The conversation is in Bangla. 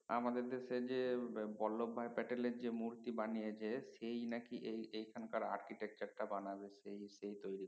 আমাদের দেশে যে বোল্ভ ভাই ক্যাটেলের যে মূর্তি বানিয়ে যে সেই না কি এই এখানকার architecture টা বানাবে সে সে তৈরি